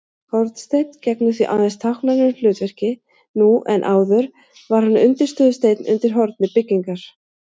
Hornsteinn gegnir því aðeins táknrænu hlutverki nú en áður var hann undirstöðusteinn undir horni byggingar.